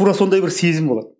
тура сондай бір сезім болады